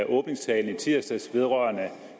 åbningstalen i tirsdags vedrørende